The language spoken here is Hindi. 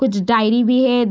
कुछ डायरी भी है ।